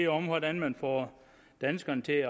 om hvordan man får danskerne til